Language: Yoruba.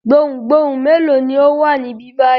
Gbohùngbohùn mélòó ni ó wà níbí báyìí?